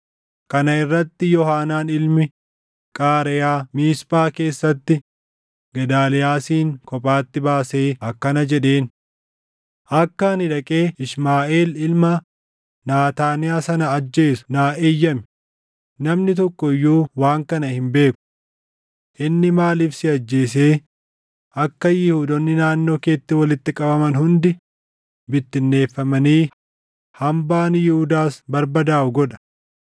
Kana irratti Yoohaanaan ilmi Qaareyaa Miisphaa keessatti Gedaaliyaasin kophaatti baasee akkana jedheen; “Akka ani dhaqee Ishmaaʼeel ilma Naataaniyaa sana ajjeesu naa eeyyami; namni tokko iyyuu waan kana hin beeku. Inni maaliif si ajjeesee akka Yihuudoonni naannoo keetti walitti qabaman hundi bittinneeffamanii hambaan Yihuudaas barbadaaʼu godha?”